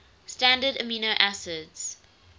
standard amino acids